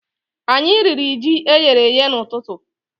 Anyi riri ji eyere èyé n'ututu